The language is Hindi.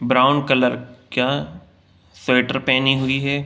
ब्राउन कलर का स्वेटर पहने हुई है।